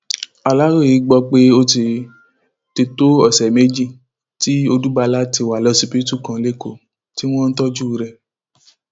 aláròye gbọ pé ó ti ti tó ọsẹ méjì tí odúbala ti wà lọsibítù kan lẹkọọ tí wọn ń tọjú rẹ